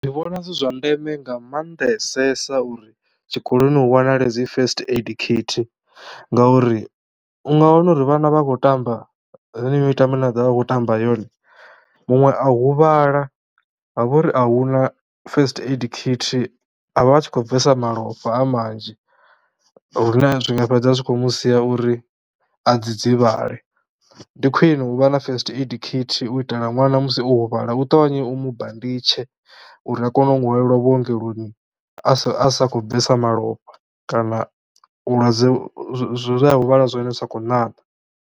Ndi vhona zwi zwa ndeme nga maanḓesesa uri tshikoloni hu wanale dzi first aid kit ngauri u nga wana uri vhana vha a khou tamba yeneyi mitambo ine vha ḓo vha vha khou tamba yone muṅwe a huvhala ha vho ri a hu na first aid kit. A vha a tshi khou bvesa malofha a manzhi hune zwi nga fhedza zwi khou mu sia uri a dzidzivhale. Ndi khwine u vha na first aid kit u itela ṅwana musi o huvhala u ṱavhanye u mu banditshe uri a kone u hwalelwa vhuongeloni a sa khou bvesa malofha kana vhulwadze, zwithu zwe a huvhala zwone zwi sa khou ṋaṋa.